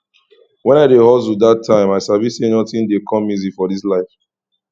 when i dey hustle dat time i sabi say nothing dey come easy for this life